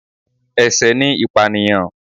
Ẹ̀sẹ̀ ni ìpànìyàn